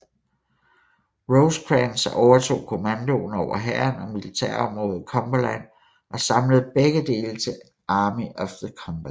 Rosecrans overtog kommandoen over hæren og militærområdet Cumberland og samlede begge dele til Army of the Cumberland